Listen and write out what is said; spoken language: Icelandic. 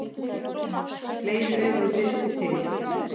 Fleiri augu þyrfti til.